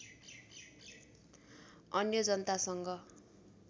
अन्य जनतासँग